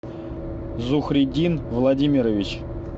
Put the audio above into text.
зухриддин владимирович